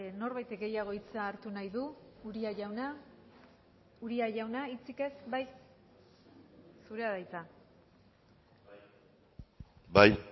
norbaitek gehiago hitza hartu nahi du uria jauna uria jauna hitzik ez bai zurea da hitza bai